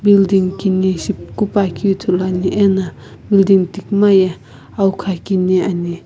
building kini shipuku puakeu ithuluani ena building tikuma ye awukha kini ani.